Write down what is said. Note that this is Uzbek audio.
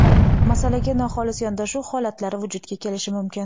masalaga noxolis yondashuv holatlari vujudga kelishi mumkin.